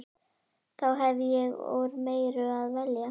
Þá hef ég úr meiru að velja.